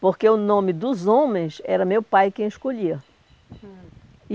Porque o nome dos homens era meu pai quem escolhia. Hum